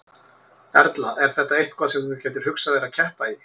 Erla: Er þetta eitthvað sem þú gætir hugsað þér að keppa í?